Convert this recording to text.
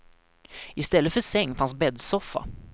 I stället för säng fanns bäddsoffa.